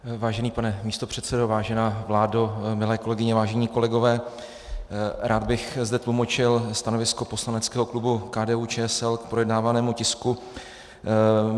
Vážený pane místopředsedo, vážená vládo, milé kolegyně, vážení kolegové, rád bych zde tlumočil stanovisko poslaneckého klubu KDU-ČSL k projednávanému tisku.